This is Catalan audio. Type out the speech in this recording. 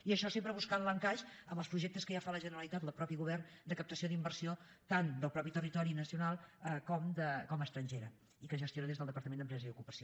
i això sempre buscant l’encaix amb els projectes que ja fa la generalitat el mateix govern de captació d’inversió tant del propi territori nacional com estrangera i que es gestiona des del departament d’empresa i ocupació